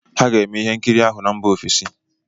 Ha ga-eme ihe nkiri ahụ na mba ofesi.